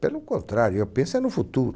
Pelo contrário, eu penso no futuro.